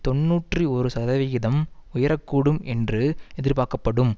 தொன்னூற்றி ஒரு சதவிகிதம் உயர கூடும் என்று எதிர்பார்க்கப்படும்